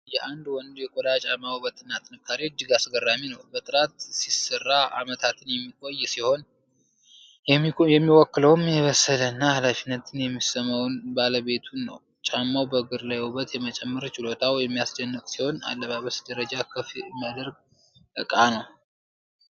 የአንድ ወንድ የቆዳ ጫማ ውበትና ጥንካሬ እጅግ አስገራሚ ነው! በጥራት ሲሰራ ዓመታትን የሚቆይ ሲሆን፣ የሚወክለውም የበሰለና ኃላፊነት የሚሰማውን ባለቤቱን ነው። ጫማው በእግር ላይ ውበት የመጨመር ችሎታው የሚያስደስት ሲሆን፣ የአለባበስን ደረጃ ከፍ የሚያደርግ ዕቃ ነው!